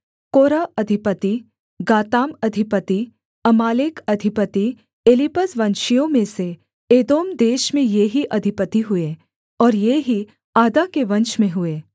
कोरह अधिपति गाताम अधिपति अमालेक अधिपति एलीपज वंशियों में से एदोम देश में ये ही अधिपति हुए और ये ही आदा के वंश में हुए